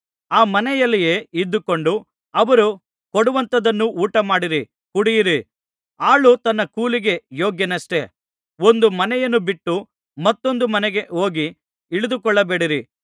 ಆ ಮನೆಯಲ್ಲಿಯೇ ಇದ್ದುಕೊಂಡು ಅವರು ಕೊಡುವಂಥದನ್ನು ಊಟಮಾಡಿರಿ ಕುಡಿಯಿರಿ ಆಳು ತನ್ನ ಕೂಲಿಗೆ ಯೋಗ್ಯನಷ್ಟೆ ಒಂದು ಮನೆಯನ್ನು ಬಿಟ್ಟು ಮತ್ತೊಂದು ಮನೆಗೆ ಹೋಗಿ ಇಳಿದುಕೊಳ್ಳಬೇಡಿರಿ